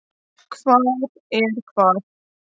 Hvar er hvað?